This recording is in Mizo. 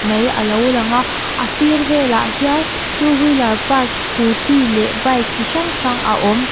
mai alo lang a a sir velah hian two wheeler park scooty leh bike chi hrang hrang a awm.